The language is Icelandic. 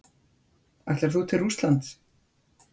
Ætlar þú til Rússlands?